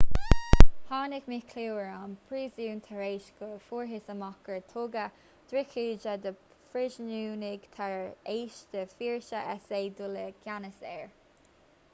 tháinig míchlú ar an bpríosún tar éis go bhfuarthas amach gur tugadh drochíde do phríosúnaigh tar éis d'fhórsaí s.a. dul i gceannas air